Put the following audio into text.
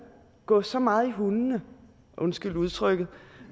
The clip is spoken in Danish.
gå så meget i hundene undskyld udtrykket